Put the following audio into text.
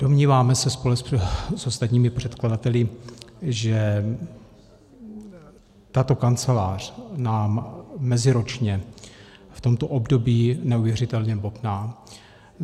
Domníváme se společně s ostatními předkladateli, že tato kancelář nám meziročně v tomto období neuvěřitelně bobtná.